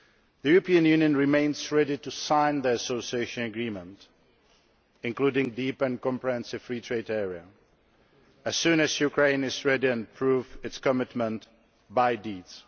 The European Union remains ready to sign the Association Agreement, including a deep and comprehensive free trade area, as soon as Ukraine is ready and proves its commitment by deeds.